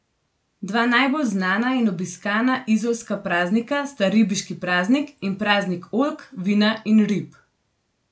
Dva najbolj znana in obiskana izolska praznika sta Ribiški paznik in Praznik oljk, vina in rib.